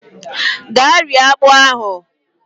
Gaa rie akpụ ahụ!